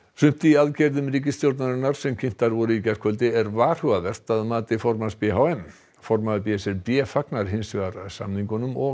sumt í aðgerðum ríkisstjórnarinnar sem kynntar voru í gærkvöldi er varhugavert að mati formanns b h m formaður b s r b fagnar hins vegar samningunum og